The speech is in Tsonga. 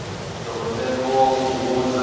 loko ntsengo lowu wu hundza